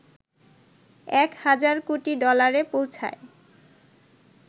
১ হাজার কোটি ডলারে পৌঁছায়